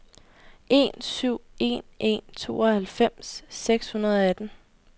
en syv en en tooghalvfems seks hundrede og atten